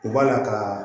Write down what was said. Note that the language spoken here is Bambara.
U b'a la kaa